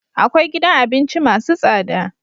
akwai gidan abinci masu tsada